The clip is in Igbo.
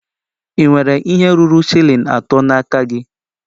Ị nwere ihe ruru shilling atọ n'aka gị?